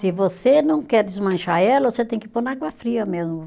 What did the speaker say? Se você não quer desmanchar ela, você tem que pôr na água fria mesmo.